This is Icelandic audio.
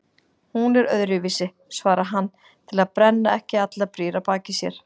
Hún er öðruvísi, svarar hann til að brenna ekki allar brýr að baki sér.